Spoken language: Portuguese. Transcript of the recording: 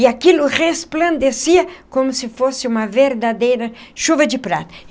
E aquilo resplandecia como se fosse uma verdadeira chuva de prata.